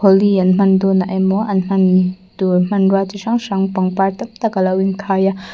holi an hman dawnah emaw an hman tur hmanrua chi hrang hrang pangpar tak tak alo inkhai a.